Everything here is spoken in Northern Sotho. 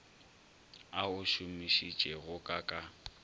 a o šomišitšego ka ka